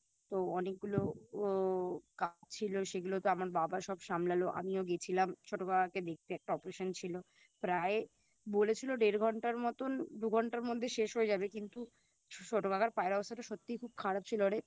তো অনেকগুলো ও কাজ ছিল সেগুলো তো আমার বাবা সব সামলালো আমিও গেছিলাম ছোট কাকাকে দেখতে একটা Operation ছিল প্রায় বলেছিলো দেড় ঘন্টার মতন দু ঘন্টার মধ্যে শেষ হয়ে যাবে কিন্তু ছোটোকাকার পায়ের অবস্থাটা খুব খারাপ ছিল রে